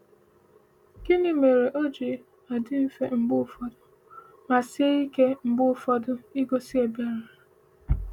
Gịnị mere o ji adị mfe mgbe ụfọdụ, ma sie ike mgbe ụfọdụ igosi ebere?